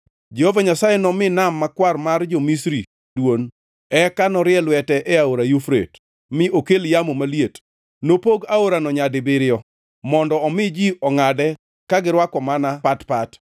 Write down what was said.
Jehova Nyasaye nomi nam makwar mar jo-Misri dwon, eka norie lwete e Aora Yufrate, mi okel yamo maliet. Nopog aorano nyadibiriyo, mondo omi ji ongʼade ka girwako mana pat pat.